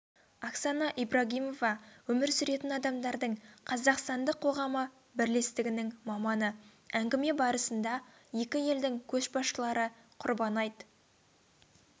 оксана ибрагимова өмір сүретін адамдардың қазақстандық қоғамы бірлестігінің маманы әңгіме барысында екі елдің көшбасшылары құрбан айт